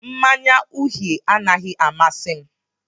Mmanya uhie anaghị amasị m